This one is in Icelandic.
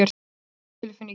Hvernig er tilfinningin?